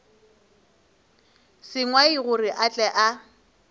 sengwai gore a tle a